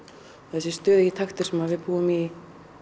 þessi stöðugi taktur sem við búum í